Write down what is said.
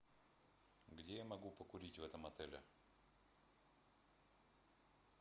где я могу покурить в этом отеле